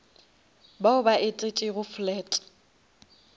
bao ba etetšego flat